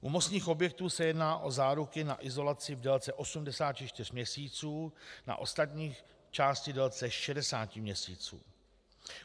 U mostních objektů se jedná o záruku na izolace v délce 84 měsíců, na ostatní části v délce 60 měsíců.